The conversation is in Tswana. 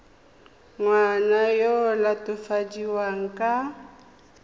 ngwana yo o latofadiwang ka